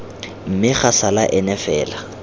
mme ga sala ena fela